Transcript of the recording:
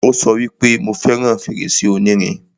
Ó sọ wípé, 'Mo fẹràn fèrèsé onírin'